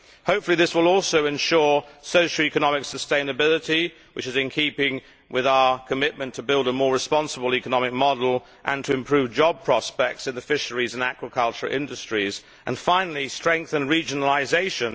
Hopefully this will also ensure socio economic sustainability which is in keeping with our commitment to build a more responsible economic model and to improve job prospects in the fisheries and aquaculture industries and strengthen regionalisation.